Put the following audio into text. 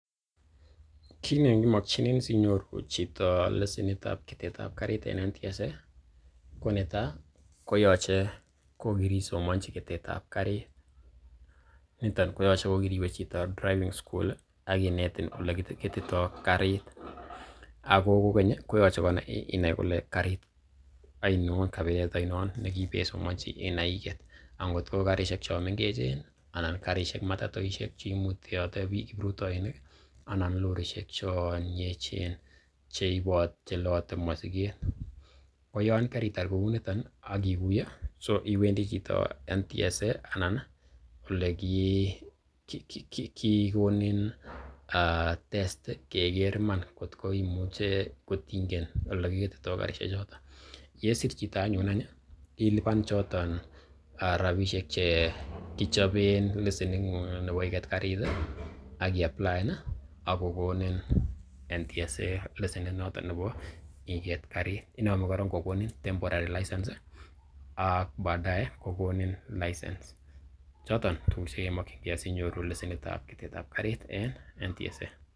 Kiit nekimokinenin asinyoru chito lesenit ab ketet ab karit en NTSA, ko netai ko yoche ko kirisomonchi ketet ab karit niton koyoche ko kiriwe chito driving school ak kinetin ole kigetito karit. Ago kogeny koyoche inai kole karit ainon kabilet ainon ne kiipeisomanji inai iget. Angot ko karisiek chon mengechen anan che matatoishek che imutate biik kiprutoinik anan lorishek chon yechen che loote mosiget. Koyon keritar kouniton ak iguye, iwendi chito NTSA anan ole kigonin testi keger iman kot ingen ole kigetito karishek chooto. Ko yesir chito anyun ii, ilipan choto rabishek che kichopen lesening'ung anan nebo iget karit ak iapplaen ak kogonin NTSA lesenit noton nebo iget karit. INome koorong kogonin temporary license ak baadae kogonin license. Choton tuguk che kemokinge asinyoru lsenit ab ketet ab karit en NTSA.